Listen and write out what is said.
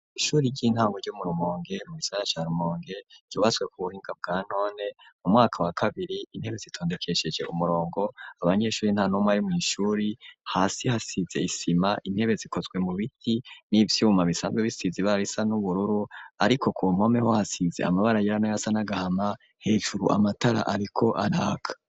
ishuri ry'intango ryo murumonge mu gisagara ca rumonge ,ryubatswe ku buhinga bwa none , mu mwaka wa kabiri , intebe zitondekesheje umurongo , abanyeshuri ntanumwe ari mwishuri, hasi hasize isima, intebe zikozwe mu biti n'ivyuma bisanzwe bisize ibara risa n'ubururu, ariko ku nkomeho hasize amabara yera nayasa nagahama , hejuru amatara ariko araka.